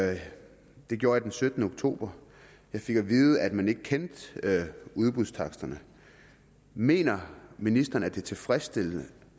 det gjorde jeg den syttende oktober jeg fik at vide at man ikke kendte udbudstaksterne mener ministeren at det er tilfredsstillende